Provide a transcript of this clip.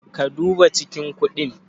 Ka duba cikin kundin?